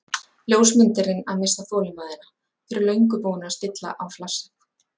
Ljósmyndarinn að missa þolinmæðina, fyrir löngu búinn að stilla á flassið.